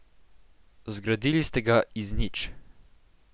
Zgradili ste ga iz nič.